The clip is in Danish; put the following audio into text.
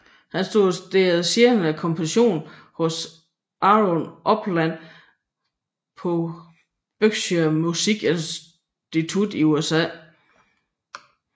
Han studerede senere komposition hos Aaron Copland på Berkshire Musik Institut i USA